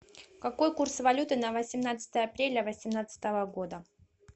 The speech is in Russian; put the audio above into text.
какой курс валюты на восемнадцатое апреля восемнадцатого года